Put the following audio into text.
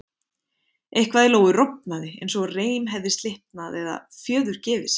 Eitthvað í Lóu rofnaði eins og reim hefði slitnað eða fjöður gefið sig.